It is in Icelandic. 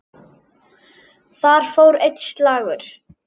Þar fór einn slagur.